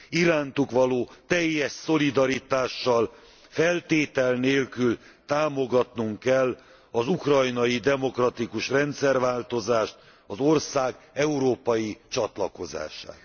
Irántuk való teljes szolidaritással, feltétel nélkül támogatnunk kell az ukrajnai demokratikus rendszerváltozást, az ország európai csatlakozását.